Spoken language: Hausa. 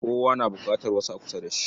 Kowa na buƙatar wasu a kusa da shi.